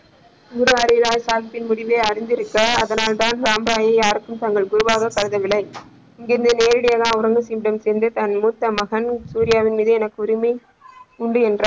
குரு ஹரிராய் சாகிப்பின் முடிவை அறிந்திருக்க அதனால் தான் ராமராயை யாருக்கும் தனது குருவாக கருதவில்ல இங்க இங்கிருந்து நேரடியாக அவுரங்கா சிறப்பிடம் சென்று தனது மூத்த மகன் சூர்யாவின் மீது எனக்கு உரிமை உண்டு என்றார்.